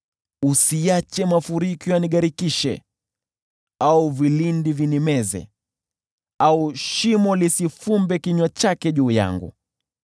Usiache mafuriko yanigharikishe au vilindi vinimeze, au shimo lifumbe kinywa chake juu yangu.